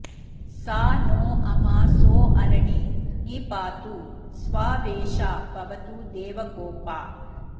सा नो अमा सो अरणे नि पातु स्वावेशा भवतु देवगोपा